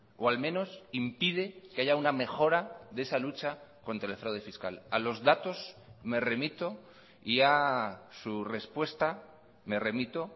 o al menos impide que haya una mejora de esa lucha contra el fraude fiscal a los datos me remito y a su respuesta me remito